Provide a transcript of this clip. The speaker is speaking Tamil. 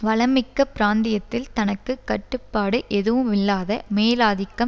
வளம் மிக்க பிராந்தியத்தில் தனக்கு கட்டுப்பாடு எதுவுமில்லாத மேலாதிக்கம்